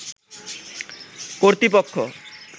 কর্তৃপক্ষ